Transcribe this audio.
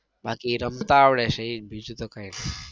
બાકી રમતા આવડે છે એ જ બીજું તો કઈ નઈ.